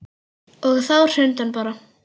Og þá hrundi hann bara.